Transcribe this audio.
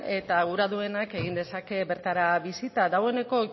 eta nahi duenak egin dezake bertara bisita dagoeneko